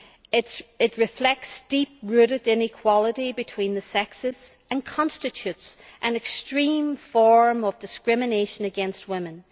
It reflects a deep rooted inequality between the sexes and constitutes an extreme form of discrimination against women.